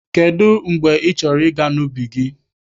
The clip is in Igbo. Kedụ mgbe ị chọrọ ịga n'ubi gị?